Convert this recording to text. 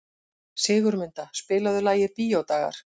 Sigurmunda, spilaðu lagið „Bíódagar“.